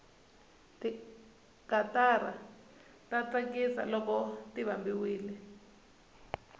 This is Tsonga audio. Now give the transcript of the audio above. tikatara ta tsakisa loko ti vambiwile